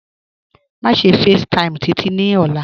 Máṣe facetime Títí ní òla.